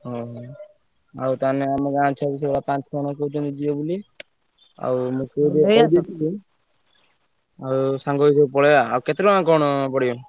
ଓହୋ ଆଉ ତାହେଲେ ଆମ ଗାଁରେ ସବୁ ସେୟା ପାଞ୍ଚ ଛଅ ଜଣ କହୁଛନ୍ତି ଯିବେ ବୋଲି ଆଉ ଆଉ ସାଙ୍ଗ ହେଇ ସବୁ ପଳେଇବା। ଆଉ କେତେ ଟଙ୍କା କଣ ପଡିବ?